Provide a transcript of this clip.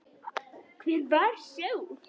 Hver var sá?